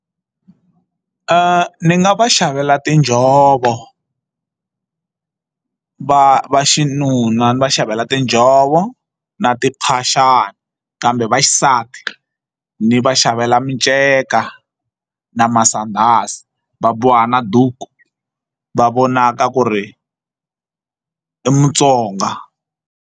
Ni nga va xavela tinjhovo va vaxinuna ni va xavela tinjhovo na tiphaxani kambe vaxisati ni va xavela minceka na masandhazi va boha na duku va vonaka ku ri i mutsonga.